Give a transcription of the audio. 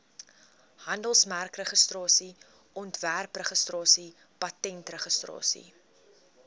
handelsmerkregistrasie ontwerpregistrasie patentregistrasie